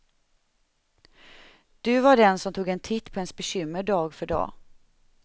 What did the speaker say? Du var den som tog en titt på ens bekymmer dag för dag.